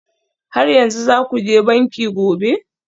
Har yanzu za ku je banki gobe?